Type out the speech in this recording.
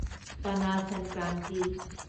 Pana Sankranti